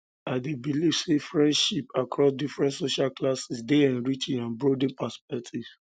i dey believe say friendships across different social classes um dey enriching and broaden um perspectives um